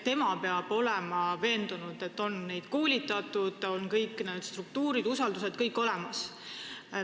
Tema peab olema veendunud, et neid on koolitatud ja kõik struktuurid ning usaldus on olemas.